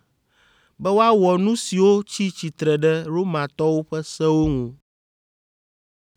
be woawɔ nu siwo tsi tsitre ɖe Romatɔwo ƒe sewo ŋu.”